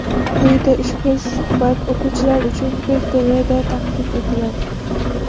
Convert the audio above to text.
Quyida ushbu suhbat o‘quvchilar uchun o‘zbek tilida taqdim etiladi.